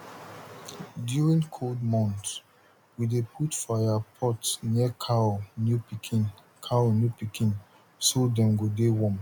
during cold month we dey put fire pot near cow new pikin cow new pikin so dem go de warm